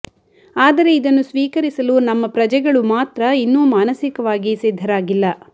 ಆದರೆ ಇದನ್ನು ಸ್ವೀಕರಿಸಲು ನಮ್ಮ ಪ್ರಜೆಗಳು ಮಾತ್ರ ಇನ್ನೂ ಮಾನಸಿಕವಾಗಿ ಸಿದ್ಧರಾಗಿಲ್ಲ